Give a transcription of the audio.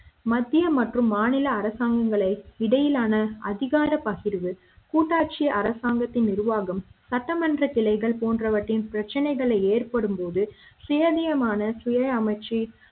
மத்திய மற்றும் மாநில அரசாங்கங்களை இடையிலான அதிகார பகிர்வு கூட்டாட்சி அரசாங்கத்தின் நிர்வாகம் சட்டமன்ற கிளைகள் போன்றவற்றின் பிரச்சினைகளை ஏற்படும்போது சேவியமான சுய அமைச்சு